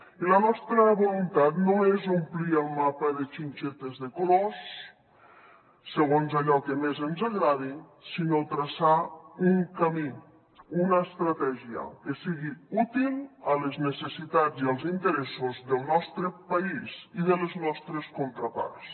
i la nostra voluntat no és omplir el mapa de xinxetes de colors segons allò que més ens agradi sinó traçar un camí una estratègia que sigui útil a les necessitats i als interessos del nostre país i de les nostres contraparts